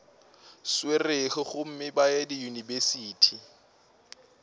swerego gomme ba ye diyunibesithi